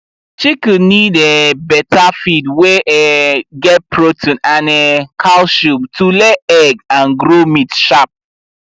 chicken need um better feed wey um get protein and um calcium to lay egg and grow meat sharp